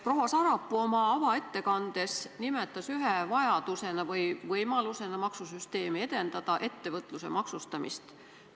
Proua Sarapuu nimetas oma avaettekandes ühe vajadusena või võimalusena maksusüsteemi edendada ettevõtluse maksustamist.